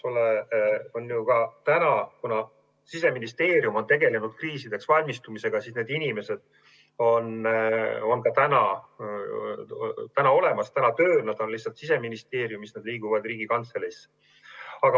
Ja kuna Siseministeerium on ka seni tegelenud kriisideks valmistumisega, siis need inimesed on juba olemas, nad on lihtsalt praegu Siseministeeriumis ja liiguvad sealt Riigikantseleisse.